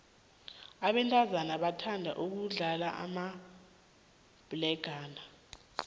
abentazana bathanda ukudlala amabhlegana